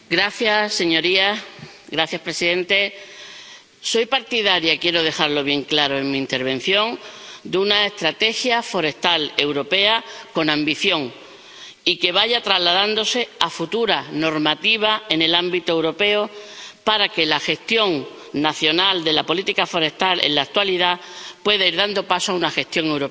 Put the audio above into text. Señor presidente, soy partidaria ⸺quiero dejarlo bien claro en mi intervención⸺ de una estrategia forestal europea con ambición y que vaya trasladándose a futuras normativas en el ámbito europeo para que la gestión nacional de la política forestal en la actualidad pueda ir dando paso a una gestión europea.